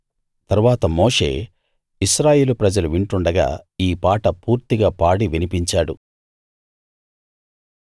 తరువాత మోషే ఇశ్రాయేలు ప్రజలు వింటుండగా ఈ పాట పూర్తిగా పాడి వినిపించాడు